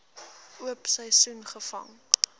oop seisoen gevang